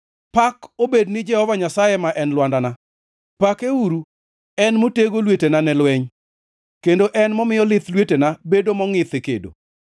Pak obed ni Jehova Nyasaye ma en Lwandana, pakeuru en motego lwetena ne lweny, kendo en momiyo lith lwetena bedo mongʼith e kedo.